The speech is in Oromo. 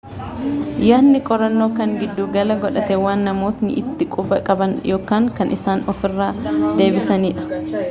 yaadni qorannoo kan giddu gala godhate waan namootni itti quba qaban yookan kan isaan ofiira deebisaan dha